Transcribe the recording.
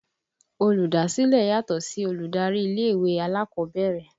Olùdásílẹ̀ yàtọ̀ sí olùdarí ilé ìwé alákọ̀ọ́bẹ̀rẹ̀